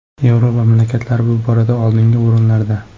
Yevropa mamlakatlari bu borada oldingi o‘rinlarda”.